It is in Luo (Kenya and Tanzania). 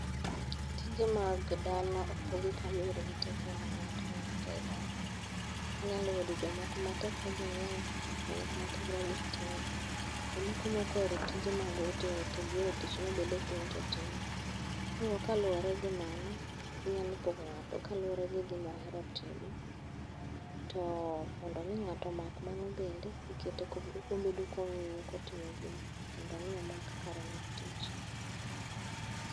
Tije mag dala opogi kaluwore gi tekre mar ng'ato ka ng'ato ei dala. Inyalo yudo jomoko ma tekregi ng'eny, jomoko ma tekregi tin, jomoko mokoero tije mag ote ote gihero tich mobedo piny to tim. Koro kaluwore gi mano, inyalo pogo ng'ato kaluwore gi gima ohero timo. To mondo mi ng'ato omak mano bende, ikete kobedo kong'iyo kotimo gino, mondo omi ok=mak kare mar tich.